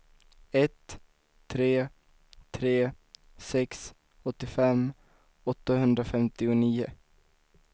ett tre tre sex åttiofem åttahundrafemtionio